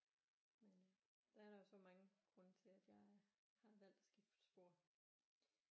Men øh der er der jo så mange grunde til at jeg har valgt at skifte spor